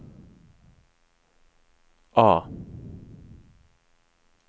A